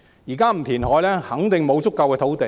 現在不填海，肯定沒有足夠土地。